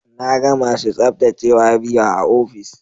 Na ga masu tsaftacewa biyu a ofis.